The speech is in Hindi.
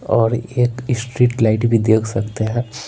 और एक स्ट्रीट लाइट भी देख सकते हैं।